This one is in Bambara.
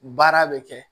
Baara bɛ kɛ